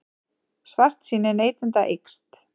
Svartsýni neytenda eykst